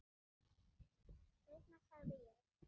Seinna sagði ég.